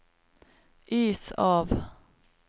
is av